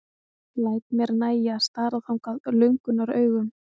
Læt mér nægja að stara þangað löngunaraugum.